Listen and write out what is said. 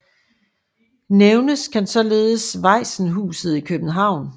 Nævnes kan således Vajsenhuset i København